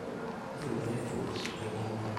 Empeku te ngumoto.